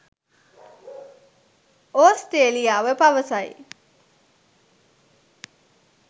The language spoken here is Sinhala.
ඔස්ට්‍රේලියාව පවසයි